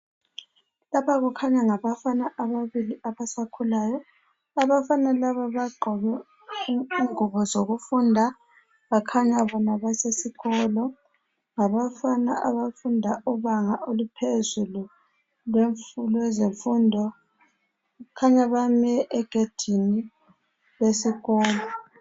Lapha kukhanya ngabafana ababili abasakhulayo, abafana laba bagqoke ingubo zokufunda bakhanya bona basesikolo ngabafana abafunda ibanga eliphezulu lwezemfundo kukhanya bame egedini lesikolo.